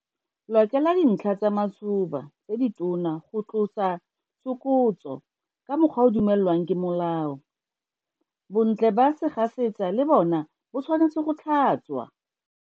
Lokela dintlha tsa matshoba tse ditona go tlosa tsokotso ka mokgwa o o dumelwang ke molao. Bontle ba segasetsa le bona bo tshwanetse go tlhatswa.